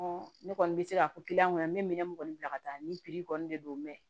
ne kɔni bɛ se ka fɔ kɔnɔ n bɛ minɛn kɔni bila ka taa nin kɔni de don mɛ